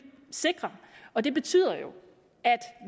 sikre og det betyder jo at